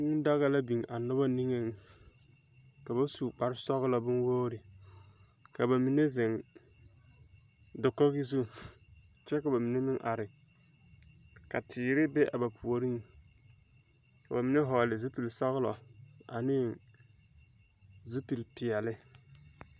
Kũũ daa la biŋ a noba niŋeŋ. Ka ba su kpare-sͻgelͻ bonwogiri, ka ba mine zeŋ, dakogi zu, kyԑ ka mine meŋ are ka teere be a ba puoriŋ. Ka ba mine vͻgele zupili-sͻgelͻ aneŋ zupili-peԑle.